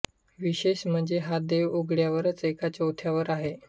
विशेष म्हणजे हा देव उघड्यावरच एका चौथऱ्यावर आहे